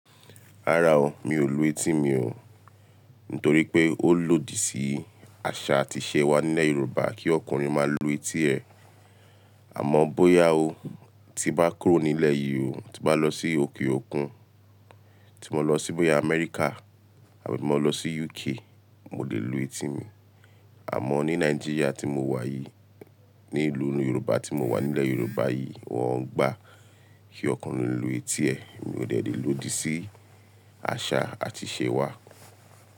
Rárá o, mi ò lu etí mi o. Nítorí pé ó lòdì sí àṣà àti ìṣe wa nílẹ̀ Yorùbá kí ọkùnrin máa lu etí ẹ. Àmọ́ bóyá o, tí n bá kúrò nílẹ̀ yìí o, tí mo bá lọ sí òkè òkun, tí mo lọ sí bóyá Amẹ́ríkà àbí mo lọ sí UK, mo lè lu etí mi. Àmọ́ ní Nàìjíríà tí mo wà yìí, ní ìlú oni Yorùbá tí mo wà nílẹ̀ Yorùbá yìí, wọ́n ń gbà kí ọkùnrin lu etí ẹ. Mi ò dẹ́ le lòdì sí àṣà àti ìṣe wa.